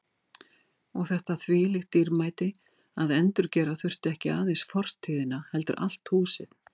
Og þetta þvílíkt dýrmæti að endurgera þurfti ekki aðeins fortíðina heldur allt húsið.